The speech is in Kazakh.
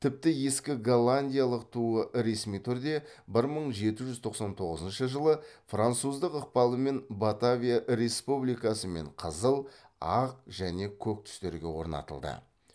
тіпті ескі голландиялық туы ресми түрде бір мың жеті жүз тоқсан тоғызыншы жылы француздың ықпалымен батавия республикасы мен қызыл ақ және көк түстерге орнатылды